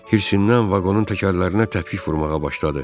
Hirşindən vaqonun təkərlərinə təpik vurmağa başladı.